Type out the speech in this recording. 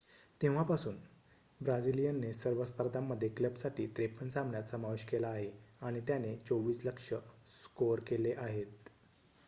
तेव्हा पासून ब्राझिलियनने सर्व स्पर्धांमध्ये क्लबसाठी 53 सामन्यांत समावेश केला आहे आणि त्याने 24 लक्ष्य स्कोअर केले आहेत